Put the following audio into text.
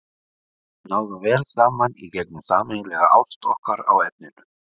Við náðum vel saman í gegnum sameiginlega ást okkar á efninu.